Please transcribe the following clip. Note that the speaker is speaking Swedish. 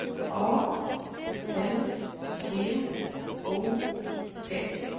A L G O T